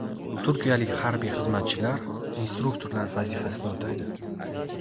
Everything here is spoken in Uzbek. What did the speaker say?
Turkiyalik harbiy xizmatchilar instruktorlar vazifasini o‘taydi.